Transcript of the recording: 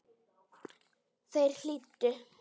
Þeir hlýddu.